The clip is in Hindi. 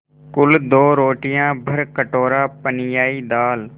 कुल दो रोटियाँ भरकटोरा पनियाई दाल